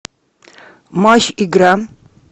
матч игра